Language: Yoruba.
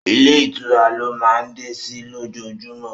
Ilé ìtura lọ máa ń dé sí ló jojúmọ́